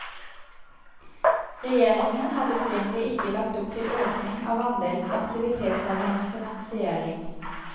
Regjeringen hadde opprinnelig ikke lagt opp til økning av andelen aktivitetsavhengig finansiering.